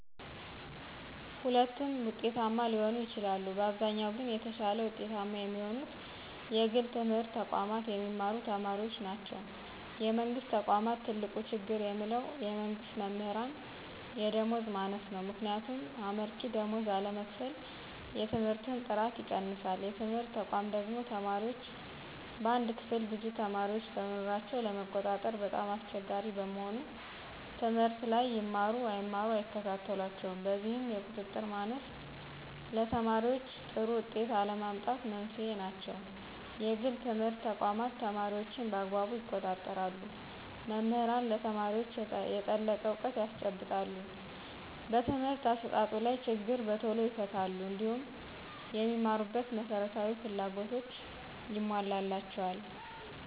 ሁለቱም ውጤታማ ሊሆኑ ይችላሉ። በአብዛኛው ግን የተሻለ ውጤታማ የሚሆኑት የግል ትምህርት ተቋማት የሚማሩ ተማሪዎች ናቸው። የመንግስት ተቆም ትልቁ ችግር የምለው የመንግስት መምህራን የደመወዝ ማነስ ነው። ምክንያቱም አመርቂ ደመወዝ አለመከፈል የትምህርትን ጥራት ይቀንሳል። የትምህርት ተቋማ ደግሞ ተማሪዎች በአንድ ክፍል ብዙ ተማሪዎችን በመኖራቸው ለመቆጣጠር በጣም አስቸጋሪ በመሆኑ ትምህርት ላይ ይማሩ አይማሩ አይከታተሏቸውም። በዚህም የቁጥጥር ማነስ ለተማሪዎይ ጥሩ ውጤት አለመምጣት መንስኤ ናቸው። የግል ትምህርት ተቋማት ተማሪዎችን በአግባቡ ይቆጣጠራሉ መምህራንም ለተማሪዎች የጠለቀ እውቀት ያስጨብጣሉ በትምህርት አሰጣጡ ላይ ችግር በቶሎ ይፈታሉ። እንዲሁም የሚማሩበት መሰረታዊ ፍላጎቶች ይሞላላቸዎል